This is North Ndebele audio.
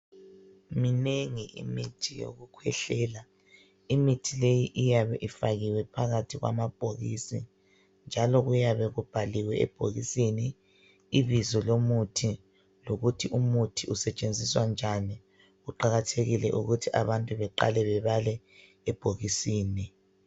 Minengi imithi yokukhwehlela. Imithi leyi iyabe ifakiwe phakathi kwamabhokisi, njalo kuyabe kubhaliwe ebhokisini, ibizo lomuthi. Lokuthi umuthi usetshenziswa njani. Kuqakathekile ukuthi abantu baqale bebale ebhokisini.